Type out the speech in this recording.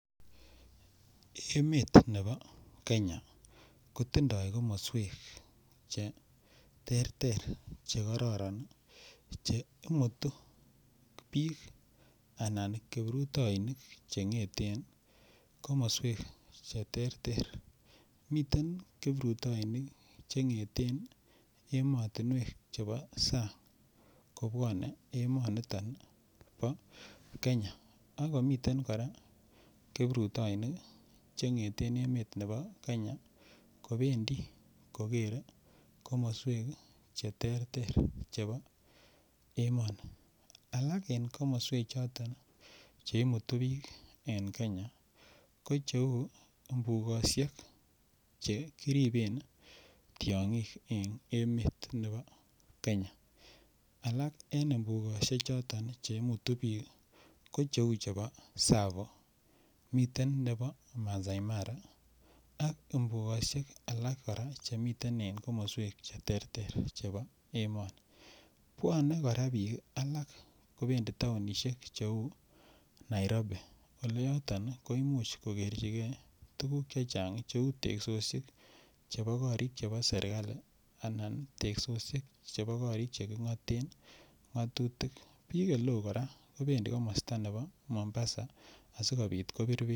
Emetab Kenya kotindoi komoswek cheterter chekororon che imutu biik anan kiprutoinik cheng'eten komoswek cheterter miten kiprutoinik cheng'eten emotinwek chebo sang' kobwonei emoniton bo Kenya ako miten kora kiprutoinik cheng'eten emet nebo Kenya kobendi kokeren komoswek cheterter chebo emet alak en komoswechoton cheimutu biik en kenya ko cheu mbukoshek che kiriben tyong'ik eng' emet nebo Kenya alak en mbukoshek choton cheimutu biik ko cheu chebo tsavo miten nebo masaai mara ak mbukoshek alak chemiten en komoswek cheterter chebo emoni bwonei kora biik alak kobendi taonishek cheu Nairobi ole yoton ko imuch kokwrjingei tukuk chechang' cheu teksoshek chebo korik chebo serikali anan teksoshek Che korik cheking'oten ng'otutik biik ole oo kora kobendi komosta nebo Mombasa a